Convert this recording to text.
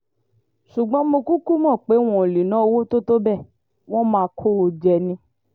ṣùgbọ́n mo kúkú mọ̀ pé wọn ò lè ná owó tó tó bẹ́ẹ̀ wọ́n máa kó o jẹ ni